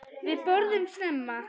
Við borðum snemma.